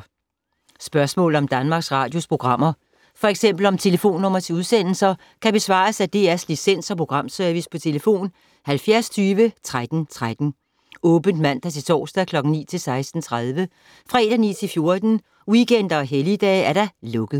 Spørgsmål om Danmarks Radios programmer, f.eks. om telefonnumre til udsendelser, kan besvares af DR Licens- og Programservice: tlf. 70 20 13 13, åbent mandag-torsdag 9.00-16.30, fredag 9.00-14.00, weekender og helligdage: lukket.